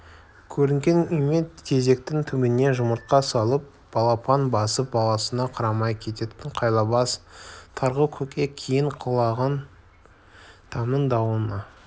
көрінген үйме тезектің түбіне жұмыртқа салып балапан басып баласына қарамай кететін қайлабас тарғыл көкек кейін құлаған тамның дуалында